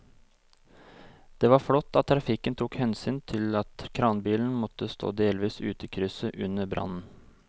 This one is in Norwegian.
Det var flott at trafikken tok hensyn til at kranbilen måtte stå delvis ute i krysset under brannen.